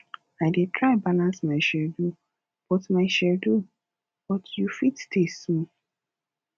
i dey try balance my schedule but my schedule but you fit stay small